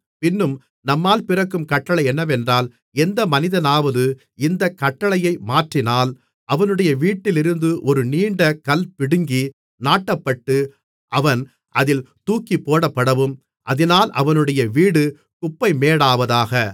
பின்னும் நம்மால் பிறக்கும் கட்டளை என்னவென்றால் எந்த மனிதனாவது இந்தக் கட்டளையை மாற்றினால் அவனுடைய வீட்டிலிருந்து ஒரு நீண்ட கல் பிடுங்கி நாட்டப்பட்டு அவன் அதில் தூக்கிப்போடப்படவும் அதினால் அவனுடைய வீடு குப்பைமேடாவதாக